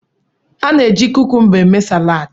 A na-eji kukumba eme salaad.